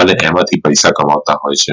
અને એમાંથી પૈસા કમાતા હોઈ છે